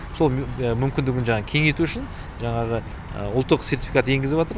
сол мүмкіндігін жаңағы кеңейту үшін жаңағы ұлттық сертификат енгізіватыр